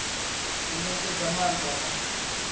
u netshedza i maanda na